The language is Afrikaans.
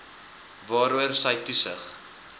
waaroor sy toesig